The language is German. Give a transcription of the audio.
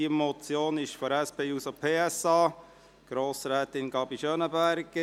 Diese Motion kommt von der SP-JUSO-PSA, von Grossrätin Gabi Schönenberger.